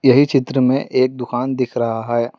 ये चित्र में एक दुकान दिख रहा है।